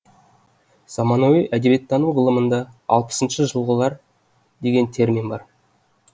заманауи әдебиеттану ғылымында алпысыншы жылғылар деген термин бар